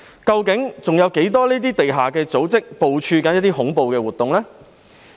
究竟還有多少這類地下組織正在部署恐怖活動？